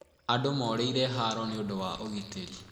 Andũ morĩire haro nĩ ũndũ wa ũgitĩri.